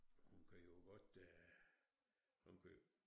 Hun kan jo godt øh hun kan